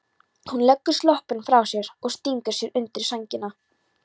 Hún leggur sloppinn frá sér og stingur sér undir sængina.